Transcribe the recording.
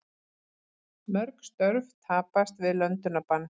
Mörg störf tapast við löndunarbann